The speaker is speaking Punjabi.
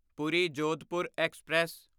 ਪੂਰੀ ਜੋਧਪੁਰ ਐਕਸਪ੍ਰੈਸ